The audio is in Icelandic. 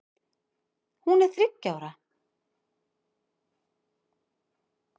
Hún er þriggja ára.